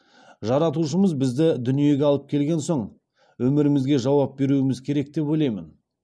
жаратушымыз бізді дүниге алып келген соң өмірімізге жауап беруіміз керек деп ойлаймын